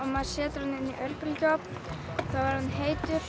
maður setur hann inn í örbylgjuofn þá er hann heitur